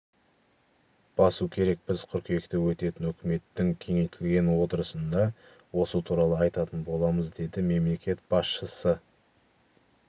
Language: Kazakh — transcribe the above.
басу керек біз қыркүйекте өтетін үкіметтің кеңейтілген отырысында осы туралы айтатын боламыз деді мемлекет басшысы